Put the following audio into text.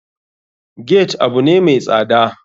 Gate abune mai tsada.